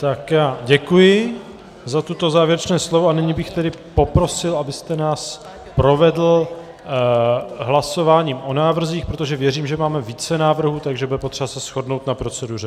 Tak já děkuji za toto závěrečné slovo a nyní bych tedy poprosil, abyste nás provedl hlasováním o návrzích, protože věřím, že máme více návrhů, takže bude potřeba se shodnout na proceduře.